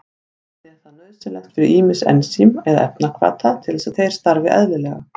Einnig er það nauðsynlegt fyrir ýmis ensím eða efnahvata til þess að þeir starfi eðlilega.